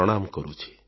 ପ୍ରଣାମ କରୁଛି